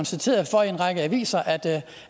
citeret for i en række aviser at